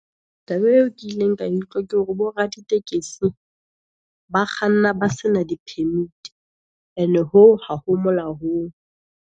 Taba eo ke ileng ka e utlwa, ke hore bo ra ditekesi, ba kganna ba sena di Permit-i, e ne hoo ha ho molaong.